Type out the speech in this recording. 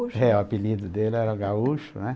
É, o apelido dele era gaúcho, né?